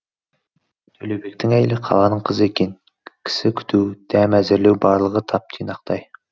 төлеубектің әйелі қаланың қызы екен кісі күту дәм әзірлеуі барлығы тап тұйнақтай